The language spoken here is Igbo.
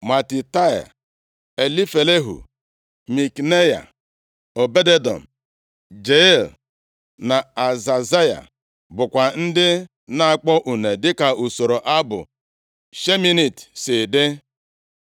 Matitaia, Elifelehu, Mikneya, Obed-Edọm, Jeiel na Azazaya bụkwa ndị na-akpọ une dịka usoro abụ Sheminit si dị.